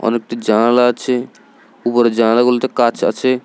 অনেকটি জানালা আছে উপরে জানালা বলতে কাচ আছে।